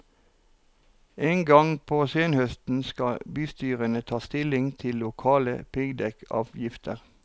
En gang på senhøsten skal bystyrene ta stilling til lokale piggdekkavgifter.